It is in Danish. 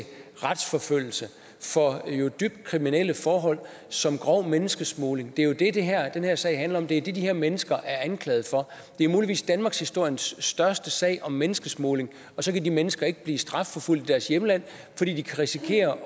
retsforfølgelse for dybt kriminelle forhold som grov menneskesmugling det er jo det den her sag handler om det er det de her mennesker er anklaget for det er muligvis danmarkshistoriens største sag om menneskesmugling og så kan de mennesker ikke blive strafforfulgt i deres hjemland fordi de kan risikere